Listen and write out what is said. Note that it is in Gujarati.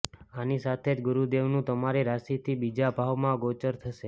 આની સાથે જ ગુરુદેવ નું તમારી રાશિ થી બીજા ભાવ માં ગોચર થશે